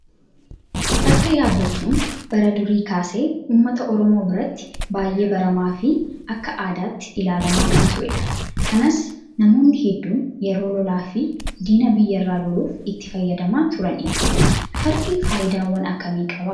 Farda yaabbachuun bara durii kaasee uummata oromoo biratti baay'ee baramaa fi akka aadaatti ilaalamaa kan turedha. Kanas namoonni hedduun yeroo lolaa fi diina biyyarraa loluuf itti fayyadamaa turaniiru. Fardi fayidaawwan akkamii qabaa?